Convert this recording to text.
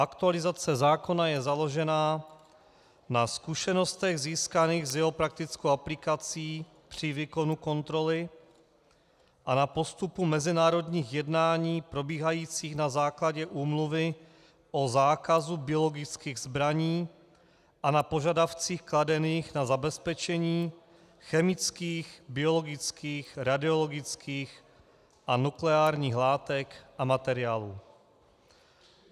Aktualizace zákona je založena na zkušenostech získaných s jeho praktickou aplikací při výkonu kontroly a na postupu mezinárodních jednání probíhajících na základě Úmluvy o zákazu biologických zbraní a na požadavcích kladených na zabezpečení chemických, biologických, radiologických a nukleárních látek a materiálů.